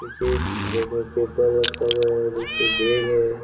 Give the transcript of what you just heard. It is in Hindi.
देखिए बेड में पेपर रखा हुआ है देखिए बैग है।